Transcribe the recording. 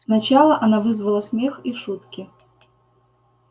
сначала она вызвала смех и шутки